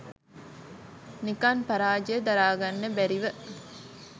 නිකන් පරාජය දරාගන්න බැරිව